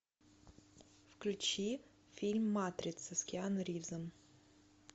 включи фильм матрица с киану ривзом